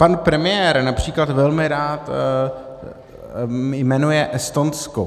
Pan premiér například velmi rád jmenuje Estonsko.